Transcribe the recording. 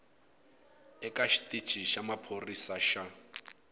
eka xitici xa maphorisa xa